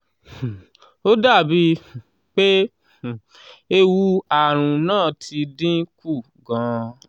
um ó dàbíi um pé um ewu ààrùn náà ti dín kù gan-an.